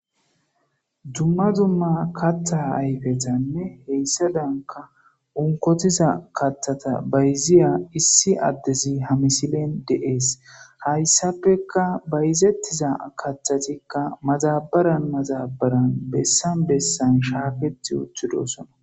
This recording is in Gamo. dumma dumma katthaa ayfetanne heyssa danka unkotiza kathata bayziya issi addezi hamisilen deees hayssappeka bayzettiza kathatikka maxabaran mazabaran bessan bessan shaaketi uthidosona